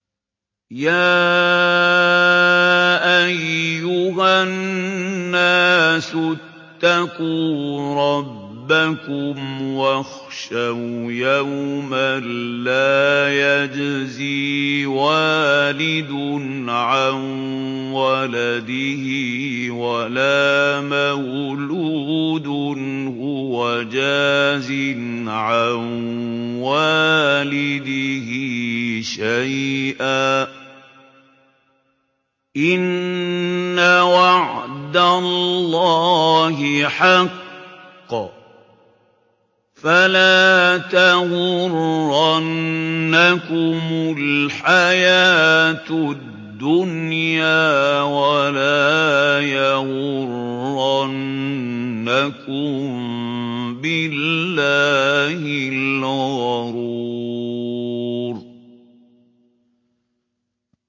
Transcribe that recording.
يَا أَيُّهَا النَّاسُ اتَّقُوا رَبَّكُمْ وَاخْشَوْا يَوْمًا لَّا يَجْزِي وَالِدٌ عَن وَلَدِهِ وَلَا مَوْلُودٌ هُوَ جَازٍ عَن وَالِدِهِ شَيْئًا ۚ إِنَّ وَعْدَ اللَّهِ حَقٌّ ۖ فَلَا تَغُرَّنَّكُمُ الْحَيَاةُ الدُّنْيَا وَلَا يَغُرَّنَّكُم بِاللَّهِ الْغَرُورُ